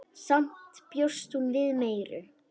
Samt bjóst hún við meiru.